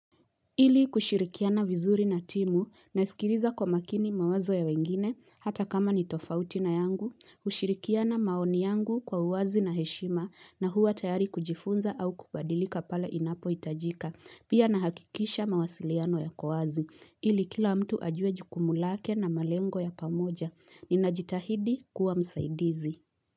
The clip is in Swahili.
Ili kushirikiana vizuri na timu na sikiriza kwa makini mawazo ya wengine hata kama ni tofauti na yangu, ushirikiana maoni yangu kwa uwazi na heshima na hua tayari kujifunza au kubadilika pale inapo itajika. Pia na hakikisha mawasiliano ya kowazi. Ili kila mtu ajuwe jukumu lake na malengo ya pamoja. Ninajitahidi kuwa msaidizi.